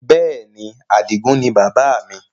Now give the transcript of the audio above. Bẹ́ẹ̀ni, Adigun ni bàbá mi